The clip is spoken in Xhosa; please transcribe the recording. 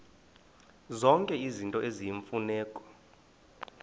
zonke izinto eziyimfuneko